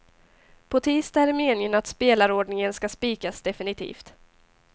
På tisdag är det meningen att spelarordningen ska spikas definitivt.